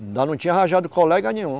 Ainda não tinha arranjado colega nenhum.